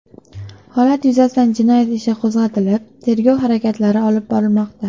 Holat yuzasidan jinoyati ishi qo‘zg‘atilib, tergov harakatlari olib borilmoqda.